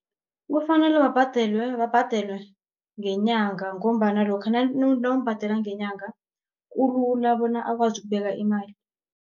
Kufanele babhadelwe ngenyanga, ngombana lokha nawumbhadela ngenyanga kulula bona akwazi ukubeka imali.